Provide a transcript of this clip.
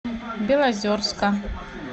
белозерска